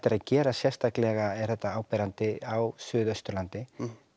er að gerast sérstaklega er þetta áberandi á Suðausturlandi